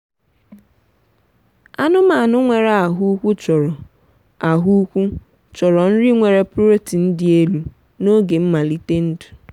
anụmanụ nwere ahụ ukwu chọrọ ahụ ukwu chọrọ nri nwere protein dị elu n’oge nmalite ndụ.